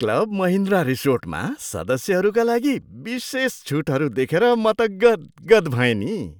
Club Mahindra रिसोर्टमा सदस्यहरूका लागि विशेष छुटहरू देखेर त म गद् गद् भएँ नि।